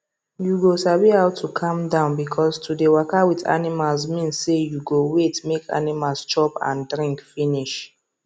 you go sabi how to calm down because to dey waka with animals mean say you go wait make animals chop and drink finish